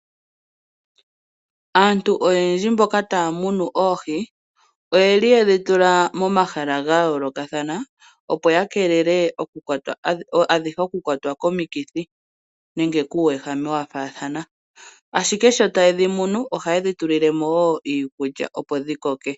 Aantu oyendji mboka taya munu oohi oyeli yedhitula momahala ga yoolokathana, opo ya keelele adhihe oku kwatwa komikithi nenge kuuwehame wa faathana. Ashike sho taye dhi munu ohaye dhi tulile mo wo iikulya opo dhi koke.